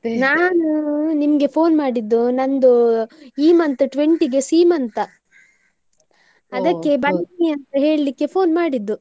ನಾನು ನಿಮ್ಗೆ phone ಮಾಡಿದ್ದು ನಂದು ಈ month twenty ಗೆ ಸೀಮಂತ. ಅದಕ್ಕೆ ಬನ್ನಿ ಅಂತ ಹೇಳಿಕ್ಕೆ phone ಮಾಡಿದ್ದು?